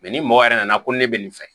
ni mɔgɔ yɛrɛ nana ko ne bɛ nin fɛ